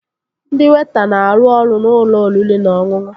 Ndị weịta na-arụ ọrụ n'ụlọ oriri na ọṅụṅụ